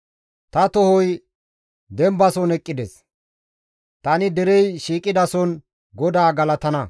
Ta tohoy dembason eqqides; tani derey shiiqidason GODAA galatana.